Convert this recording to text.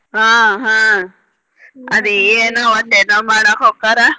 ಹಾ ಹಾ ಅದ ಏನೊ ಒಟ್ಟ್ ಏನೊ ಮಾಡಾಕ್ ಹೊಕ್ಕಾರ.